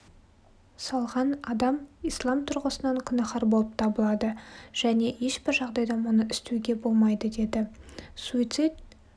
салған адам ислам тұрғысынан күнәһар болып табылады және ешбір жағдайда мұны істеуге болмайды деді суицид